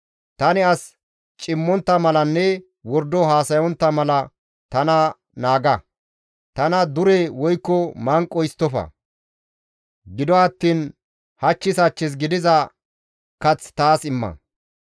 Tani as cimmontta malanne wordo haasayontta mala tana naaga; tana dure woykko manqo histtofa; gido attiin hachchis hachchis gidiza kath taas imma.